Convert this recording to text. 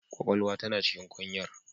Kwakwalwa tana cikin kwanyar.